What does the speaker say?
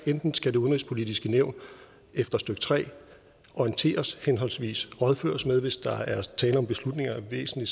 enten skal det udenrigspolitiske nævn efter stykke tre orienteres henholdsvis rådføres med hvis der er tale om beslutninger af væsentlig